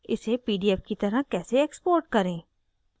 इसे pdf की तरह कैसे export करें